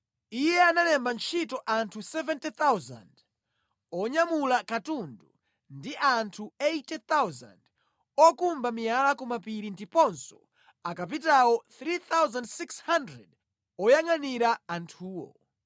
Iye analemba ntchito anthu 70,000 onyamula katundu ndi anthu 80,000 okumba miyala ku mapiri ndiponso akapitawo 3,600 oyangʼanira anthuwo.